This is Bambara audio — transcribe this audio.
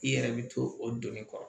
I yɛrɛ bi to o donni kɔrɔ